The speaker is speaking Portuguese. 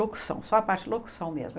Locução, só a parte de locução mesmo.